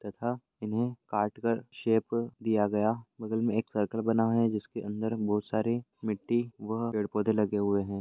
तथा इन्हे काटकर शेप दिया गया बगल में एक सर्कल बना है जिसके अंदर बहोत सारे मिट्टी व पेड़ पौधे लगे हुए है।